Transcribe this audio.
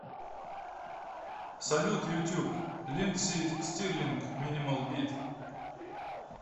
салют ютуб линдси стирлинг минимал бит